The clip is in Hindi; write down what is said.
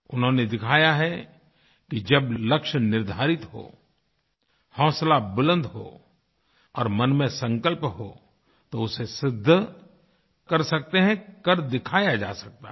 उन्होंने दिखाया है कि जब लक्ष्य निर्धारित हो हौसला बुलंद हो और मन में संकल्प हो तो उसे सिद्ध कर सकते हैं करके दिखाया जा सकता है